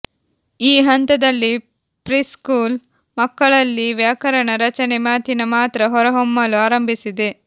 ಈ ಹಂತದಲ್ಲಿ ಪ್ರಿಸ್ಕೂಲ್ ಮಕ್ಕಳಲ್ಲಿ ವ್ಯಾಕರಣ ರಚನೆ ಮಾತಿನ ಮಾತ್ರ ಹೊರಹೊಮ್ಮಲು ಆರಂಭಿಸಿದೆ